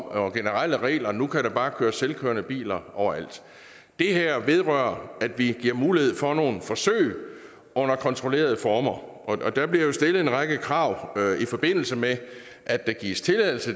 og generelle regler om at nu kan der bare køre selvkørende biler overalt det her vedrører at vi giver mulighed for nogle forsøg under kontrollerede former der bliver jo stillet en række krav i forbindelse med at der gives tilladelse